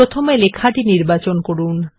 প্রথমে লেখাটি নির্বাচন করুন